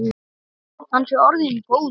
Hann sé orðinn góður.